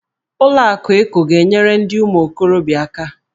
Ụlọ akụ Eko ga-enyere ndị ụmụ okorobịa aka.